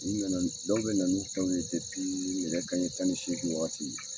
U nana ni dɔw bɛ n'u tan ye kabini nɛgɛ kanɲɛ tan ni seegi waati .